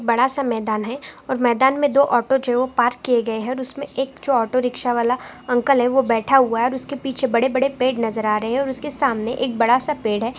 बड़ा सा मैदान है और मैदान मैं दो ऑटो जो है वो पार्क किये गए हैऔर उस में एक जो ऑटो रिकसा वाला अंकल है वो बेठा हुआ है और उसके पीछे बड़े बड़े पेड़ नजर आ रहे है और उसके सामने एक डबा सा पेड़ है ।